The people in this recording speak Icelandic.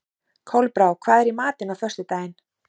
Kolbrá, hvað er í matinn á föstudaginn?